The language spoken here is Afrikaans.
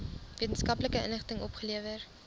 wetenskaplike inligting opgelewer